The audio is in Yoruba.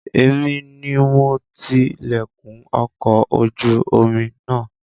Èmi ni mo ti lẹ̀kùn ọkọ̀ ojú omi náà